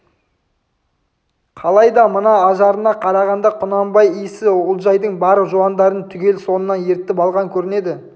қалай да мына ажарына қарағанда құнанбай иісі олжайдың бар жуандарын түгел соңынан ертіп алған көрінеді